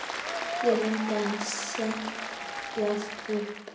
Ég reyndi að setjast upp.